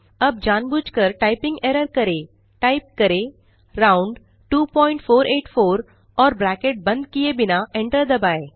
अब जानबूझ कर टाइपिंग एरर करें टाइप करें round2484 और ब्रैकेट बंद किये बिना एंटर दबाएँ